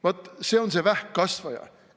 Vaat see on see vähkkasvaja.